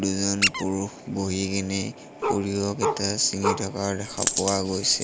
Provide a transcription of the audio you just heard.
দুজন পুৰুষ বহি কিনি সৰিয়হ কেইটা ছিঙি থকা দেখা পোৱা গৈছে।